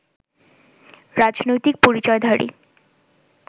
রাজনৈতিক পরিচয়ধারী